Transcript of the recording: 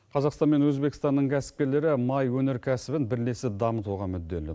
қазақстан мен өзбекстанның кәсіпкерлері май өнеркәсібін бірлесіп дамытуға мүдделі